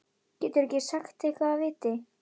Geturðu ekki sagt eitthvað af viti?